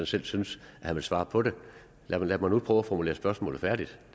selv synes at han vil svare på det lad mig nu prøve at formulere spørgsmålet færdigt